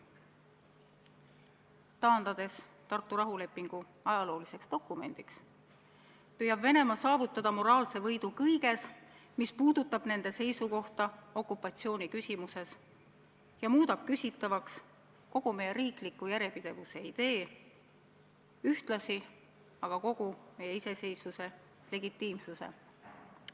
Taandades Tartu rahulepingu ajalooliseks dokumendiks, püüab Venemaa saavutada moraalse võidu kõiges, mis puudutab nende seisukohta okupatsiooniküsimuses ja muudab küsitavaks kogu meie riikliku järjepidevuse idee, ühtlasi aga kogu meie iseseisvuse legitiimsuse.